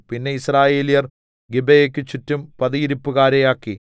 പിന്നെ യിസ്രായേല്യർ ഗിബെയെക്ക് ചുറ്റും പതിയിരിപ്പുകാരെ ആക്കി